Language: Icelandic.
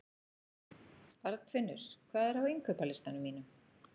Arnfinnur, hvað er á innkaupalistanum mínum?